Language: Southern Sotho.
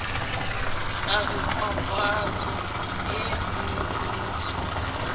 ka re papatso ee reretswe